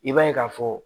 I b'a ye k'a fɔ